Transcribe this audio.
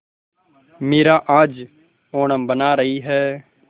मीरा आज ओणम मना रही है